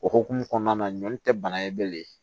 O hukumu kɔnɔna na ɲɔn tɛ bana ye bilen